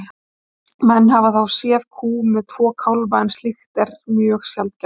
menn hafa þó séð kú með tvo kálfa en slíkt er mjög sjaldgæft